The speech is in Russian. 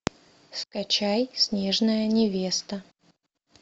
скачай снежная невеста